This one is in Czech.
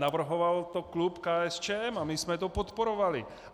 Navrhoval to klub KSČM a my jsme to podporovali.